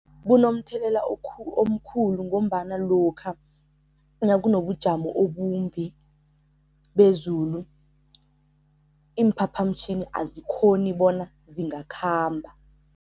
Bunomthelela omkhulu ngombana lokha nakunobujamo obumbi bezulu, iimphaphamtjhini azikghoni bona zingakhamba.